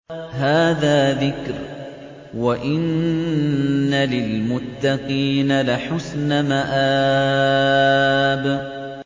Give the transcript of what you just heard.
هَٰذَا ذِكْرٌ ۚ وَإِنَّ لِلْمُتَّقِينَ لَحُسْنَ مَآبٍ